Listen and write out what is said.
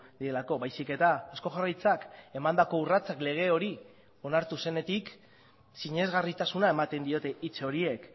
direlako baizik eta eusko jaurlaritzak emandako urratsak lege hori onartu zenetik sinesgarritasuna ematen diote hitz horiek